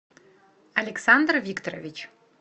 александр викторович